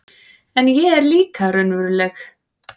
En ég er líka raunveruleg